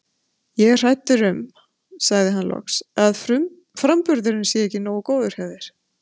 Ég er hræddur um sagði hann loks, að framburðurinn sé ekki nógu góður hjá þér